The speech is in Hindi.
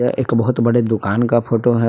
एक बहुत बड़े दुकान का फोटो है।